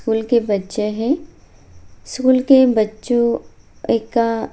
school के बच्चे हैं स्कूल के बच्चों एका --